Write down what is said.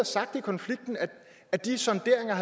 sagt i konflikten at de sonderinger